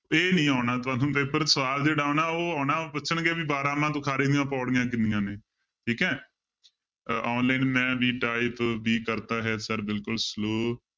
ਇਹ ਨੀ ਆਉਣਾ ਤੁਹਾਨੂੰ ਪੇਪਰ ਸਵਾਲ ਜਿਹੜਾ ਆਉਣਾ ਉਹ ਆਉਣਾ ਉਹ ਪੁੱਛਣਗੇ ਵੀ ਬਾਰਾਂਮਾਂਹ ਤੁਖਾਰੀ ਦੀਆਂ ਪਾਉੜੀਆਂ ਕਿੰਨੀਆਂ ਨੇ ਠੀਕ ਹੈ ਅਹ online ਮੈਂ ਵੀ type ਵੀ ਕਰਦਾ ਹੈ sir ਬਿਲਕੁਲ slow